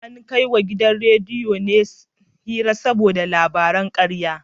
An kai wa gidan rediyon hari ne saboda yada labaran karya